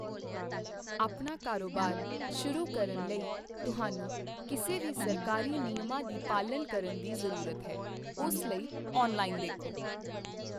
ਆਪਣਾ ਕਾਰੋਬਾਰ ਸ਼ੁਰੂ ਕਰਨ ਲਈ ਤੁਹਾਨੂੰ ਕਿਸੇ ਵੀ ਸਰਕਾਰੀ ਨਿਯਮਾਂ ਦੀ ਪਾਲਣਾ ਕਰਨ ਦੀ ਜ਼ਰੂਰਤ ਹੈ, ਉਸ ਲਈ ਔਨਲਾਈਨ ਦੇਖੋ।